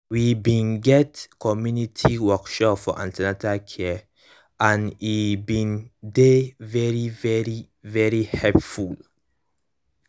we bin get community workshop for an ten atal care and e bin dey very very very helpful